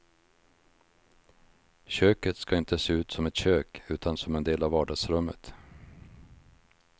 Köket ska inte se ut som ett kök, utan som en del av vardagsrummet.